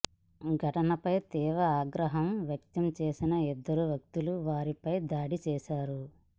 ఘటనపై తీవ్ర ఆగ్రహం వ్యక్తం చేసిన ఇద్దరు వ్యక్తులు వారిపై దాడి చేశారు